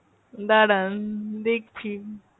দাঁড়ান দেখছি।